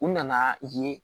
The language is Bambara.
U nana yen